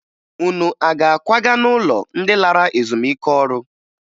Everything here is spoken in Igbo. Unu a ga-akwaga n'ụlọ ndị lara ezumike ọrụ?